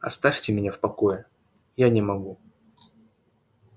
оставьте меня в покое я не могу